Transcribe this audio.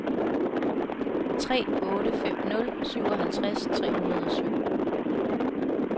tre otte fem nul syvoghalvtreds tre hundrede og syv